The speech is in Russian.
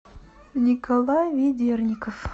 николай ведерников